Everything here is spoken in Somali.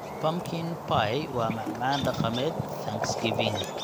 Pumpkin pie waa macmacaan dhaqameed Thanksgiving.